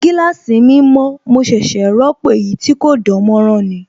Gíláàsì mi mọ̀, mo ṣẹ̀ṣẹ̀ ròpọ̀ èyí tí kò dánmọ́nrán ni